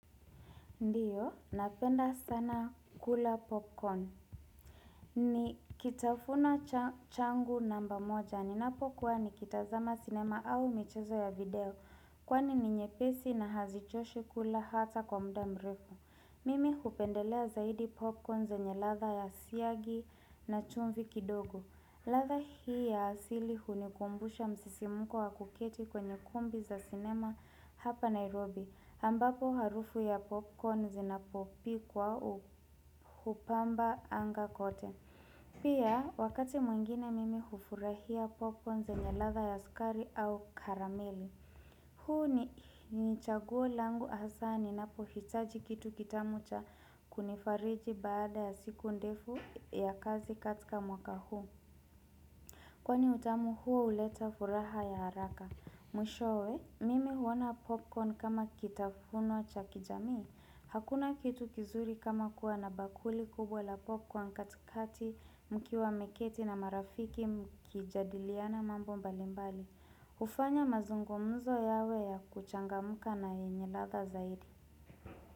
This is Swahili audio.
Ndiyo, napenda sana kula popcorn. Ni kitafuna changu namba moja ninapokua nikitazama sinema au mchezo ya video. Kwani ni nyepesi na hazichoshi kula hata kwa muda mrefu. Mimi hupendelea zaidi popcorn zenye ladha ya siagi na chumvi kidogo. Ladha hii ya asili hunikumbusha msisimuko wa kuketi kwenye kumbi za cinema hapa Nairobi ambapo harufu ya popcorn zinapopikwa uhupamba anga kote. Pia wakati mwingine mimi hufurahia popcorn zenye ladha ya sukari au karameli. Huu ni chaguo langu hasa ninapo hitaji kitu kitamu cha kunifariji baada ya siku ndefu ya kazi katika mwaka huu. Kwani utamu huo huleta furaha ya haraka. Mwishowe, mimi huona popcorn kama kitafuna cha kijamii. Hakuna kitu kizuri kama kuwa na bakuli kubwa la popcorn katikati mkiwa mmeketi na marafiki mkijadiliana mambo mbalimbali. Hufanya mazungumzo yawe ya kuchangamka na yenye ladha zaidi.